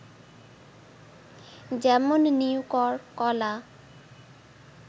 যেমন- নিউকর, কলা